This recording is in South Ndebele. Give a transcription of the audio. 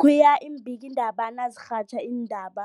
khuya iimbikiindaba nazirhatjha iindaba